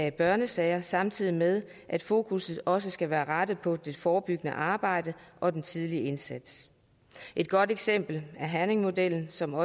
i børnesager samtidig med at fokusset også skal være på det forebyggende arbejde og den tidlige indsats et godt eksempel er herningmodellen som